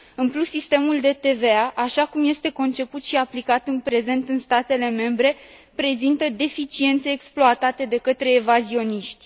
În plus, sistemul de TVA, așa cum este conceput și aplicat în prezent în statele membre, prezintă deficiențe, exploatate de către evazioniști.